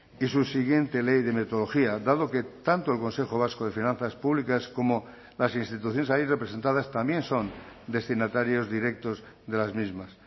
y su siguiente ley de metodología dado que tanto el consejo vasco de finanzas públicas como las instituciones ahí representadas también son destinatarios directos de las mismas